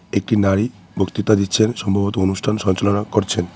একটি নারী বক্তৃতা দিচ্ছেন সম্ভবত অনুষ্ঠান সঞ্চালনা করছেন।